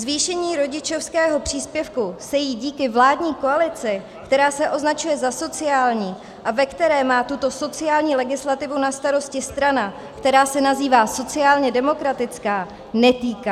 Zvýšení rodičovského příspěvku se jí díky vládní koalici, která se označuje za sociální a ve které má tuto sociální legislativu na starosti strana, která se nazývá sociálně demokratická, netýká.